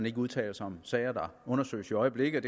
ikke udtaler sig om sager der undersøges i øjeblikket